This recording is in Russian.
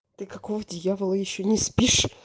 ты какого дьявола ещё не спишь